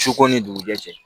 Su ko ni dugu jɛ cɛ